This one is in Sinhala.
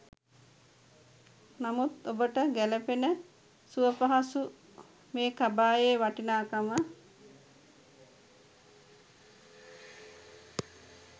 නමුත් ඔබට ගැ‍ලපෙන සුවපහසු මේ කබායේ වටිනාකම